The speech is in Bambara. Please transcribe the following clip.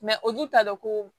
olu t'a dɔn ko